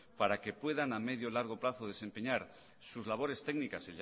para que puedan a medio o largo plazo desempeñar sus labores técnicas